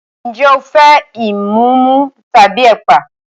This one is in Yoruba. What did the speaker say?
Ǹjẹ́ o fẹ́ ìmumu tàbí ẹ̀pà?